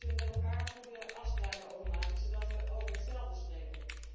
Daar moeten wij met elkaar goede afspraken over maken, zodat wij over hetzelfde spreken.